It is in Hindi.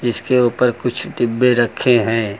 इसके ऊपर कुछ डिब्बे रखे हैं।